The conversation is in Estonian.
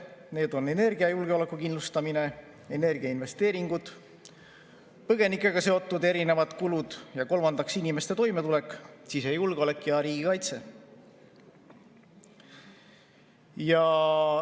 Need on energiajulgeoleku kindlustamine ja energiainvesteeringud, põgenikega seotud erinevad kulud ning kolmandaks inimeste toimetulek, sisejulgeolek ja riigikaitse.